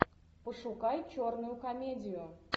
пошукай черную комедию